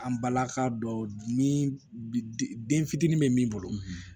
An balaka dɔw ni den fitinin be min bolo